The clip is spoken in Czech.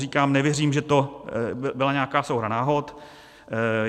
Říkám: Nevěřím, že to byla nějaká souhra náhod.